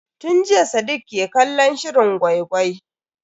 Tun jiya sadiq ke kallon shirin gwai-gwai.